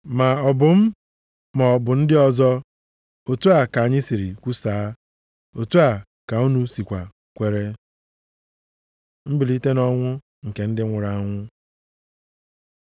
Ma ọ bụ m, maọbụ ndị ọzọ, otu a ka anyị siri kwusaa, otu a ka unu sikwa kwere. Mbilite nʼọnwụ nke ndị nwụrụ anwụ